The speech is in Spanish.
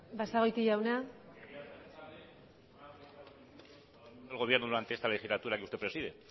basagoiti jauna el gobierno durante esta legislatura que usted preside